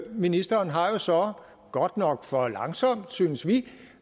ministeren har har så godt nok for langsomt synes vi